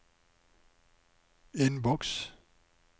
innboks